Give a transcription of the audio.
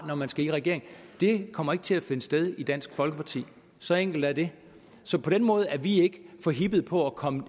når man skal i regering kommer ikke til at finde sted hos dansk folkeparti så enkelt er det så på den måde er vi ikke forhippede på at komme